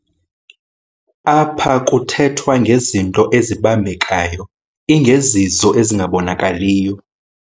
Apha kuthethwa ngezinto ezibambekayo ingezizo ezingabonakaliyo